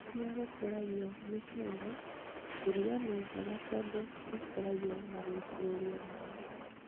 Kũria gũk ũragio mĩcere irio nĩnjega tondu ĩkũragio na guĩtĩrĩrio maĩ